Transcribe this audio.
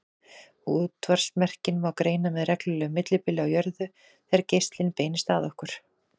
Útvarpsmerkin má greina með reglulegu millibili á jörðu þegar geislinn beinist að okkur.